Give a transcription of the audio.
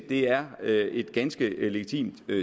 det er et ganske legitimt